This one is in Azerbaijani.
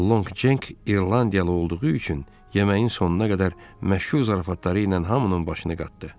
Lonq Cenk İrlandiyalı olduğu üçün yeməyin sonuna qədər məşhur zarafatları ilə hamının başını qatdı.